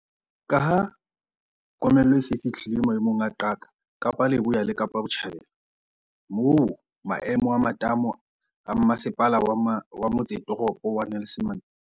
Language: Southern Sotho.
Ka ha komello e se e fihlile maemong a qaka Kapa Leboya le Kapa Botjhabela, moo maemo a matamo a Mmase pala wa Motsetoropo wa Nelson Mandela Bay